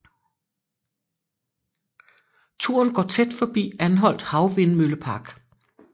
Turen går tæt forbi Anholt Havvindmøllepark